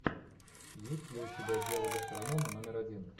есть ли у тебя дело гастронома номер один